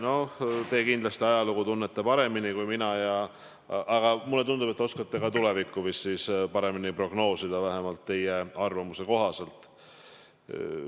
No teie tunnete kindlasti ajalugu paremini kui mina, aga mulle tundub, et te oskate vist ka tulevikku paremini prognoosida, vähemalt teie enda arvamuse kohaselt.